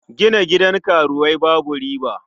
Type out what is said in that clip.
Gina gidan karuwai babu riba.